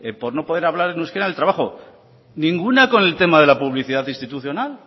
por no poder hablar en euskera en el trabajo ninguna con el tema de la publicidad institucional